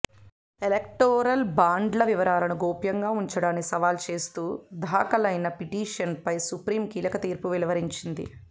electoral బాండ్ల వివరాలను గోప్యంగా ఉంచడాన్ని సవాల్ చేస్తూ దాఖలైన పిటిషన్పై సుప్రీం కీలక తీర్పు వెలువరించింది